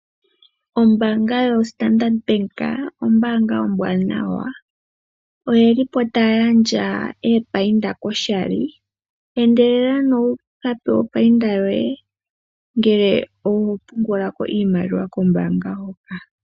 Ombanga yo Standard Bank ombanga ombwanawa oyelipo taya gandja epayinda koshali, endela ano wukapewe opayinda yoye ngele oho pungulako iimaliwa kombanga hoka.